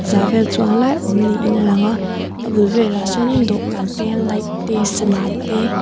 za vel chuang lai a awm niin alang a a bul velah sawnin dawhkan te light te sana te--